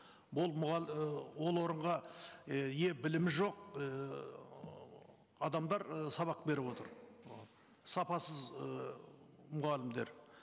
бұл ы ол орынға і білімі жоқ ііі адамдар ы сабақ беріп отыр сапасыз ы мұғалімдер